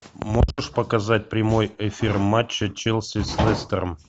можешь показать прямой эфир матча челси с лестером